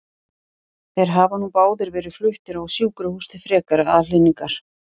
Þeir hafa nú báðir verið fluttir á sjúkrahús til frekari aðhlynningar.